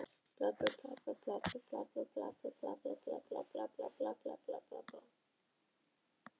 Þær ýttu borðunum upp að veggjunum til að hafa gott pláss, Sóley Björk stakk